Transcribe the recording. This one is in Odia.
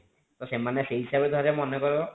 ତ ସେମାନେ ସେଇ ହିସାବରେ ଧର ମାନେ କର